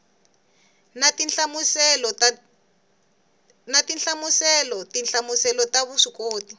na tinhlamuselo tinhlamuselo ta vuswikoti